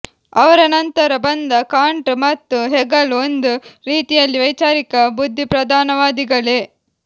ಅವರ ಅನಂತರ ಬಂದ ಕಾಂಟ್ ಮತ್ತು ಹೆಗಲ್ ಒಂದು ರೀತಿಯಲ್ಲಿ ವೈಚಾರಿಕ ಬುದ್ಧಿಪ್ರಧಾನವಾದಿಗಳೇ